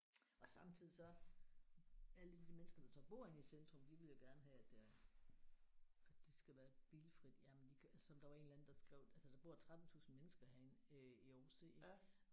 Og samtidig så alle de der mennesker der så bor inde i centrum de ville jo gerne have at det er at det skal være bilfrit jamen de kan som det var en eller anden der skrev altså der bor 13 tusind mennesker herinde øh i Aarhus C ik